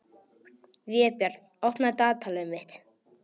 Vébjörn, opnaðu dagatalið mitt.